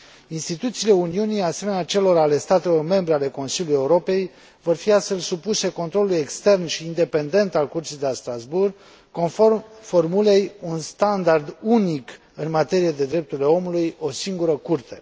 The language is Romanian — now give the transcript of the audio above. Instituțiile Uniunii, asemenea celor ale statelor membre ale Consiliului Europei, vor fi astfel supuse controlului extern și independent al Curții de la Strasbourg, conform formulei un standard unic în materie de drepturile omului, o singură Curte.